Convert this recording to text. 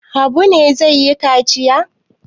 Habu ne zai yi kaciya?